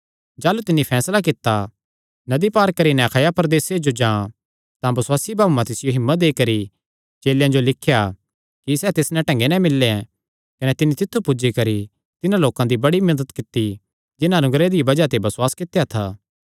जाह़लू तिन्नी फैसला कित्ता नदी पार करी नैं अखाया प्रदेसे जो जां तां बसुआसी भाऊआं तिसियो हिम्मत देई करी चेलेयां जो लिख्या कि सैह़ तिस नैं ढंगे नैं मिल्ले कने तिन्नी तित्थु पुज्जी करी तिन्हां लोकां दी बड़ी मदत कित्ती जिन्हां अनुग्रह दी बज़ाह ते बसुआस कित्या था